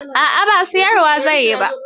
A'a ba siyar wa zan yi ba.